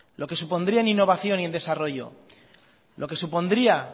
lo que supondría en innovación y en desarrollo lo que supondría